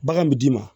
Bagan bi d'i ma